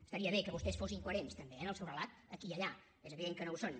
estaria bé que vostès fossin coherents també eh en el seu relat aquí i allà és evident que no ho són